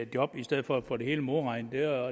job i stedet for at få det hele modregnet blev